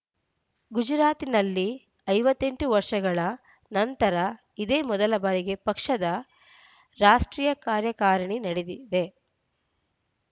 ಗುಜರಾತಿನಲ್ಲಿ ಐವತ್ತ್ ಎಂಟು ವರ್ಷಗಳ ನಂತರ ಇದೇ ಮೊದಲ ಬಾರಿಗೆ ಪಕ್ಷದ ರಾಷ್ಟ್ರೀಯ ಕಾರ್ಯಕಾರಿಣಿ ನಡೆದಿದೆ